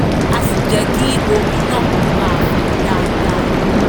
á sì jẹ́ kí omi náà máa fà dáadáa